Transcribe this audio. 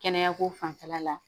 Kɛnɛya ko fanfɛla la